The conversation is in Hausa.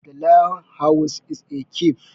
The Lion's house is a cave.